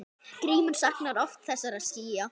Grímur saknar oft þessara skýja.